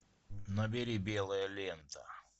набери белая лента